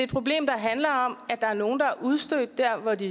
problem der handler om at der er nogle der er udstødte dér hvor de